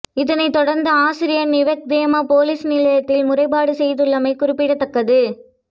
இதனை தொடர்ந்து ஆசிரியை நவகத்தேகம பொலிஸ் நிலையத்தில் முறைபாடு செய்துள்ளமை குறிப்பிடத்தக்கது